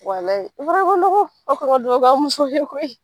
ma nɔgɔ aw kan ka duwawu k'aw musow ye koyi